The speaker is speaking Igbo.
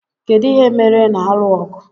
Kedu ihe mere ị na-alụ ọgụ?